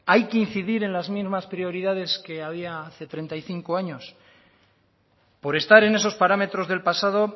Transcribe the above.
hay que incidir en las mismas prioridades que había hace treinta y cinco años por estar en esos parámetros del pasado